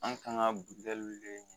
An kan ka